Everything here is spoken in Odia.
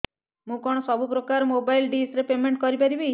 ମୁ କଣ ସବୁ ପ୍ରକାର ର ମୋବାଇଲ୍ ଡିସ୍ ର ପେମେଣ୍ଟ କରି ପାରିବି